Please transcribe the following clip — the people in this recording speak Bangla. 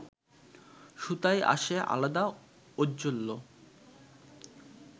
সুতায় আসে আলাদা ঔজ্জ্বল্য